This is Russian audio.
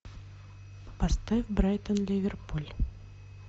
поставь брайтон ливерпуль